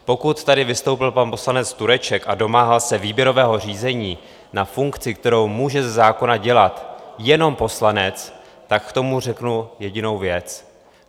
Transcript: Pokud tady vystoupil pan poslanec Tureček a domáhal se výběrového řízení na funkci, kterou může ze zákona dělat jenom poslanec, tak k tomu řeknu jedinou věc.